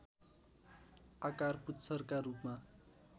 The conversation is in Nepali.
आकार पुच्छरका रूपमा